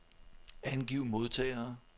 Angiv modtagere.